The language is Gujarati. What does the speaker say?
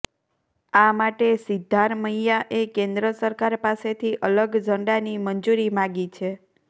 આ માટે સિદ્ધારમૈયાએ કેન્દ્ર સરકાર પાસેથી અલગ ઝંડાની મંજૂરી માગી છે